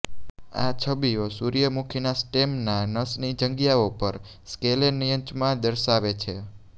આ છબીઓ સૂર્યમુખીના સ્ટેમના નસની જગ્યાઓ પર સ્કેલેન્ચ્યમા દર્શાવે છે